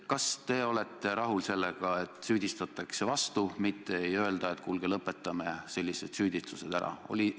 Kas te olete rahul sellega, et vastates süüdistatakse vastu, mitte ei öelda, et kuulge, lõpetame sellised süüdistused ära?